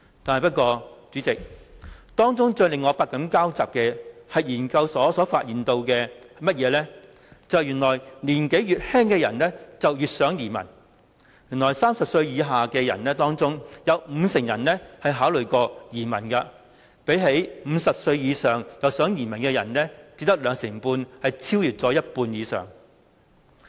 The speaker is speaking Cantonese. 但是，代理主席，當中最令我百感交集的是，研究所發現越年輕的人越想移民 ，30 歲以下的人當中，有五成人曾考慮移民，相比只有兩成半50歲以上的人想移民，多了一倍。